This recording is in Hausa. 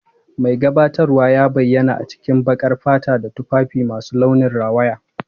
Mai gabatarwa ya bayyana a cikin baƙar fata da tufafi masu launin rawaya.